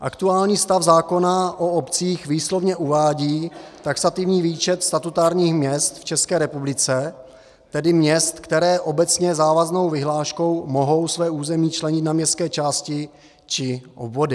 Aktuální stav zákona o obcích výslovně uvádí taxativní výčet statutárních měst v České republice, tedy měst, která obecně závaznou vyhláškou mohou své území členit na městské části či obvody.